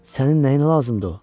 Sənin nəyinə lazımdır o?